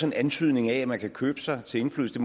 en antydning af at man kan købe sig til indflydelse